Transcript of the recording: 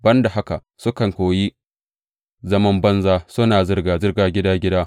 Ban da haka, sukan koyi zaman banza, suna zirga zirga gida gida.